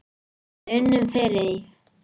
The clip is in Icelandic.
Við unnum fyrir því.